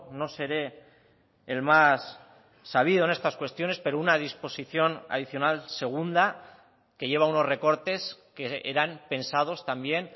no seré el más sabido en estas cuestiones pero una disposición adicional segunda que lleva unos recortes que eran pensados también